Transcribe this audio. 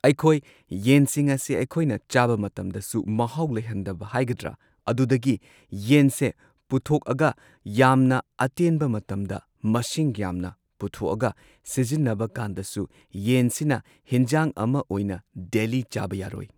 ꯑꯩꯈꯣꯏ ꯌꯦꯟꯁꯤꯡ ꯑꯁꯤ ꯑꯩꯈꯣꯏꯅ ꯆꯥꯕ ꯃꯇꯝꯗꯁꯨ ꯃꯍꯥꯎ ꯂꯩꯍꯟꯗꯕ ꯍꯥꯏꯒꯗ꯭ꯔ ꯑꯗꯨꯗꯒꯤ ꯌꯦꯟꯁꯦ ꯄꯨꯊꯣꯛꯑꯒ ꯌꯥꯝꯅ ꯑꯇꯦꯟꯕ ꯃꯇꯝꯗ ꯃꯁꯤꯡ ꯌꯥꯝꯅ ꯄꯨꯊꯣꯛꯑꯒ ꯁꯤꯖꯤꯟꯅꯕ ꯀꯥꯟꯗꯁꯨ ꯌꯦꯟꯁꯤꯅ ꯍꯤꯟꯖꯥꯡ ꯑꯃ ꯑꯣꯏꯅ ꯗꯦꯂꯤ ꯆꯥꯕ ꯌꯥꯔꯣꯏ꯫